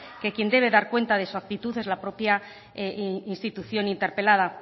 que quien debe dar cuenta de su actitud es la propia institución interpelada